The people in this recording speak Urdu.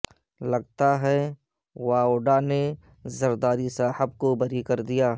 لگتا ہے واوڈا نے زرداری صاحب کو بری کردیا